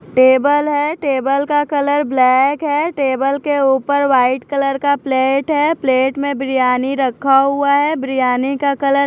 table है table का colour black है टेबल के ऊपर व्हाईट कलर का प्लेट है प्लेट में बिरयानी रखा हुआ है बिरयानी का कलर --